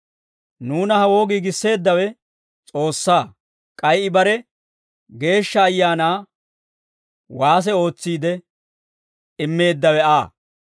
Nuuna hawoo giigisseeddawe S'oossaa; k'ay I bare Geeshsha Ayaanaa waase ootsiide, immeeddawe Aa.